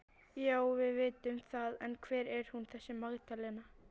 Já, við vitum það en hver er hún þessi Magdalena?